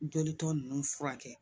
Joli tɔ ninnu furakɛ